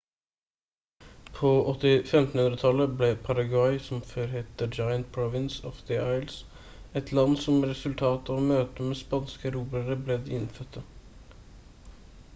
på 1500-tallet ble paraguay som før het «the giant provins of the indies» et land som resultat av møtet med spanske erobrere med de innfødte